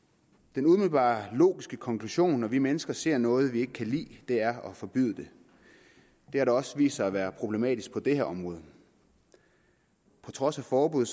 den umiddelbare logiske konklusion når vi mennesker ser noget vi ikke kan lide er at forbyde det det har da også vist sig at være problematisk på det her område på trods af forbud